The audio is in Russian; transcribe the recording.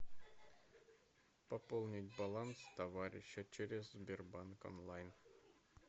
пополнить баланс товарища через сбербанк онлайн